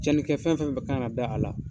Cɛnnikɛ fɛn fɛn kan ka na a la.